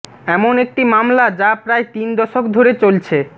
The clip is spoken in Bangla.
এমন একটি মামলা যা প্রায় তিন দশক ধরে চলছে